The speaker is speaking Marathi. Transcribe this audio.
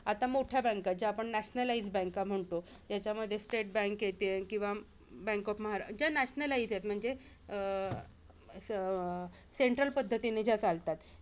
आत्ता मोठ्या banks ज्या आपण nationalize banks म्हणतो. ज्याच्यामध्ये स्टेट बँकेचे किंवा बँक ऑफ महारा ज्या nationalize आहेत. म्हणजे अं अं central पद्धतीने ज्या चालतात.